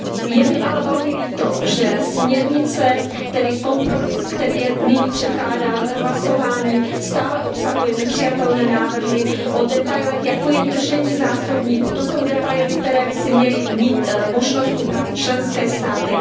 Je mi ale velmi líto, že směrnice, tedy kompromis, který nyní předkládáme k hlasování, stále obsahuje nepřijatelné návrhy o detailech, jako je držení zásobníků, to jsou detaily, které by si měly mít možnost upravit členské státy.